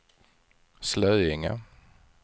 Slöinge